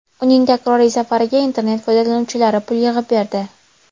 Uning takroriy safariga internet foydalanuvchilari pul yig‘ib berdi.